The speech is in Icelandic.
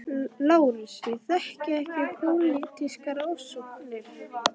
LÁRUS: Ég þekki ekki pólitískar ofsóknir.